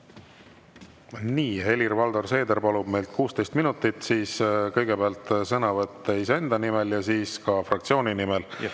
Nii, Helir-Valdor Seeder palub meilt 16 minutit: kõigepealt sõnavõtt iseenda nimel ja siis ka fraktsiooni nimel.